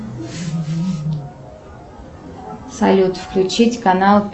салют включить канал